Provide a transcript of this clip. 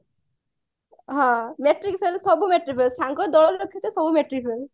matric fail ସବୁ matric fail ସାଙ୍ଗ ଦଳ ସବୁ ମାଟ୍ରିକ fail